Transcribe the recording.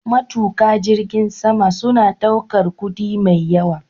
Matuka jirgin sama suna ɗaukar kuɗi mai yawa.